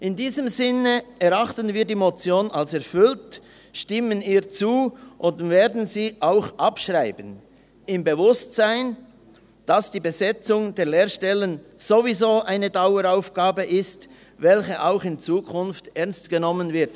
In diesem Sinne erachten wir die Motion als erfüllt, stimmen ihr zu und werden sie auch abschreiben – im Bewusstsein, dass die Besetzung der Lehrerstellen ohnehin eine Daueraufgabe ist, welche auch in Zukunft ernst genommen wird.